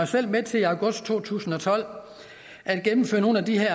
selv med til i august to tusind og tolv at gennemføre nogle af de her